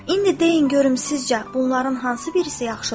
İndi deyin görüm sizcə bunların hansı birisi yaxşıdır?